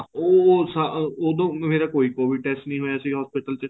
ਉਹ ਉਦੋਂ ਮੇਰਾ ਕੋਈ covid test ਨਹੀਂ ਹੋਇਆ ਸੀ hospital ਚ